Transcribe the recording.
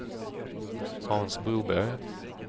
Hans Broberg